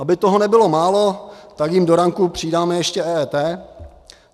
Aby toho nebylo málo, tak jim do ranku přidáme ještě EET.